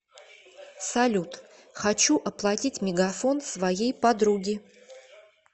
салют хочу оплатить мегафон своей подруги